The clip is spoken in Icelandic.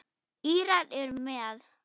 Írar eru með.